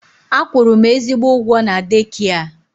A kwụrụ m ezigbo ụgwọ na deekia.